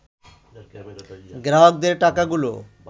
গ্রাহকদের টাকাগুলো